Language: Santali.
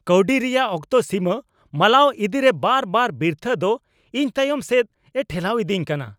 ᱠᱟᱹᱶᱰᱤ ᱨᱮᱭᱟᱜ ᱚᱠᱛᱚ ᱥᱤᱢᱟᱹ ᱢᱟᱞᱟᱣ ᱤᱫᱤᱨᱮ ᱵᱟᱨ ᱵᱟᱨ ᱵᱤᱨᱛᱷᱟᱹᱜ ᱫᱚ ᱤᱧ ᱛᱟᱭᱚᱢ ᱥᱮᱫ ᱮ ᱴᱷᱮᱞᱟᱣ ᱤᱫᱤᱧ ᱠᱟᱱᱟ ᱾